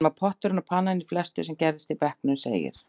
Hann var potturinn og pannan í flestu sem gerðist í bekknum, segir